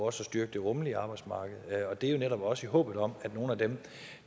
at styrke det rummelige arbejdsmarked og det er jo netop også i håbet om at nogle af dem